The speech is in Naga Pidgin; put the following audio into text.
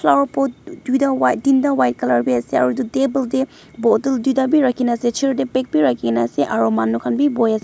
flower pot duita white tinta white color bi ase aro itu table tey bottle duita rakhina chair tey bag bi rakhikena ase aro manu khan bi buhias--